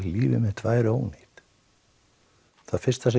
lífið mitt væri ónýtt það fyrsta sem